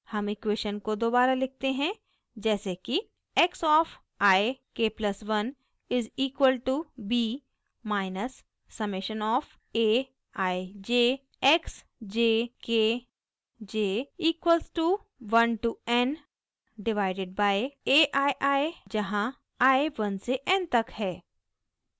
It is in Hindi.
हम इक्वेशन को दोबारा लिखते हैं जैसे कि x of i k+1 is equal to b minus summation of a i j x j k j equal to 1 to n divided by a i i जहाँ i 1 से n तक है